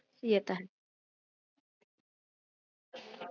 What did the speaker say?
ਹਖ